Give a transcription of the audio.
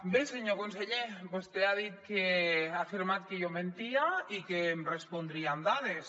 bé senyor conseller vostè ha afirmat que jo mentia i que em respondria amb dades